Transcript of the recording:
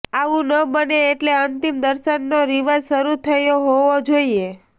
આવું ન બને એટલે અંતિમ દર્શનનો રિવાજ શરૂ થયો હોવો જોઈએ